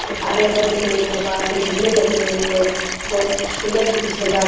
और हरे-हरे पेड़ हैं बहार से झंडे लगे हुए हैं बहुत ही सुंदर सजा --